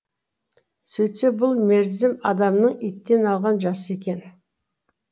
сөйтсе бұл мерзім адамның иттен алған жасы екен